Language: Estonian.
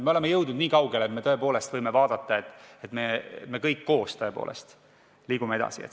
Me oleme jõudnud nii kaugele, et me tõepoolest võime vaadata, et me kõik koos liiguksime edasi.